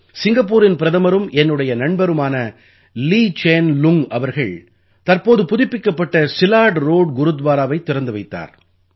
சிங்கப்பூரின் பிரதமரும் என்னுடைய நண்பருமான லீ சேன் லுங் அவர்கள் தற்போது புதுப்பிக்கப்பட்ட சிலாட் ரோட் குருத்வாராவைத் திறந்து வைத்தார்